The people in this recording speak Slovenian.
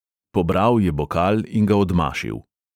Pobral je bokal in ga odmašil.